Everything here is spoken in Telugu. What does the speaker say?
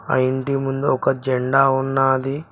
ఆ ఇంటి ముందు ఒక జెండా ఉన్నది